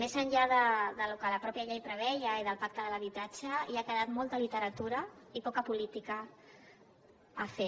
més enllà del que la mateixa llei preveia i del pacte de l’habitatge ha quedat molta literatura i poca política a fer